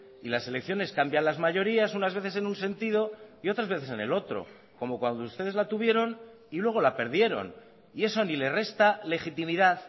y las elecciones cambian las mayorías unas veces en un sentido y otras veces en el otro como cuando ustedes la tuvieron y luego la perdieron y eso ni le resta legitimidad